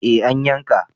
Eh an yanka